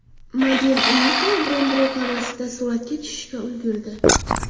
Model Uniqlo brendi reklamasida suratga tushishga ulgurdi.